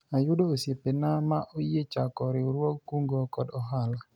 ayudo osiepena ma oyie chako riwruog kungo kod hola